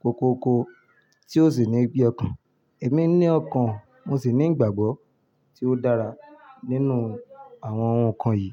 koko ko tí o sì ní bí ọkàn. Èmi ní ọkàn mo sì ní ìgbàgbọ́ tí ó dára nínú àwọn ohun kan yìí.